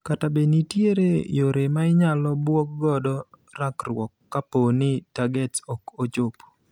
Kata be nitiere yore mainyalo bwog godo rakruok kapooni targets ok ochop.